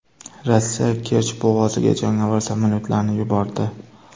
Rossiya Kerch bo‘g‘oziga jangovar samolyotlarini yubordi.